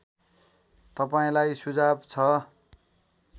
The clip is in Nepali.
तपाईँलाई सुझाव छ